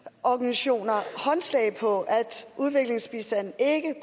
syn på udviklingsbistanden